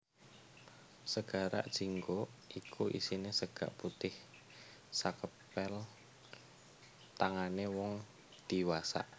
Sega jinggo iku isine sega putih sakepel tangane wong diwasa